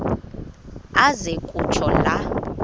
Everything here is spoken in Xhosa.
aze kutsho la